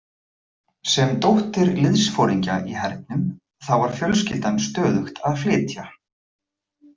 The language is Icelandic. Sem dóttir liðsforingja í hernum þá var fjölskyldan stöðugt að flytja.